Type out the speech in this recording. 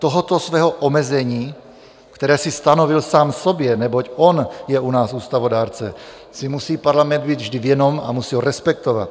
Tohoto svého omezení, které si stanovil sám sobě, neboť on je u nás ústavodárce, si musí parlament být vždy vědom a musí ho respektovat.